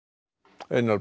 einar